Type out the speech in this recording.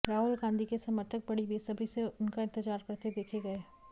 राहुल गांधी के समर्थक बड़ी बेसब्री से उनका इंतजार करते देखे गए